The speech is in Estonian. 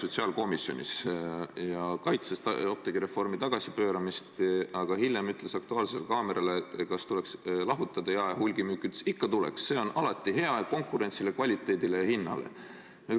Ja ta kaitses apteegireformi tagasipööramist, aga hiljem ütles, vastates "Aktuaalses kaameras" küsimusele, kas tuleks jae- ja hulgimüük lahutada, et ikka tuleks, see on konkurentsile, kvaliteedile ja hinnale hea.